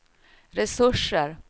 resurser